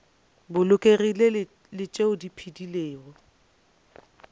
bolokegilego le tšeo di phedilego